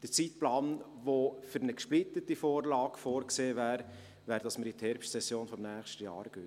Gemäss Zeitplan, der für eine gesplittete Vorlage vorgesehen wäre, gehen wir damit in die Herbstsession des nächsten Jahres.